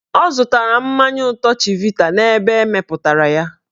Ọ zụtara mmanya ụtọ chivita n'ebe emepụtara ya.